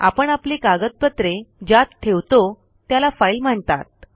आपण आपली कागदपत्रे ज्यात ठेवतो त्याला फाईल म्हणतात